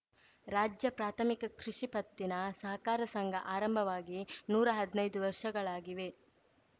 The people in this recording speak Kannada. ರಾಜ್ಯ ಪ್ರಾಥಮಿಕ ಕೃಷಿ ಪತ್ತಿನ ಸಹಕಾರ ಸಂಘ ಆರಂಭವಾಗಿ ನೂರಾ ಹದ್ನೈದು ವರ್ಷಗಳಾಗಿವೆ